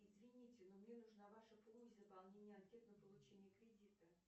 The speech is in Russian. извините но мне нужна ваша помощь в заполнении анкеты на получение кредита